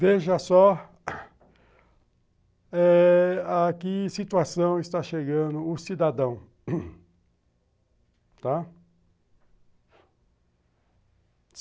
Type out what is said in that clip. Veja só a que situação está chegando o cidadão